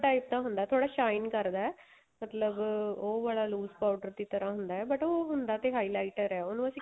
type ਦਾ ਹੁੰਦਾ ਥੋੜਾ shine ਕਰਦਾ ਮਤਲਬ ਉਹ ਵਾਲਾ lose powder ਦੀ ਤਰ੍ਹਾਂ ਹੁੰਦਾ but ਉਹ ਹੁੰਦਾ ਤੇ highlighter ਏ ਉਹਨੂੰ ਅਸੀਂ